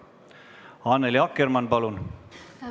Annely Akkermann, palun!